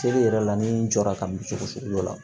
Seli yɛrɛ la ni n jɔra ka min sugu dɔ la